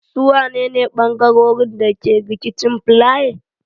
Su wane ne bangarorin da ke rikicin filaye?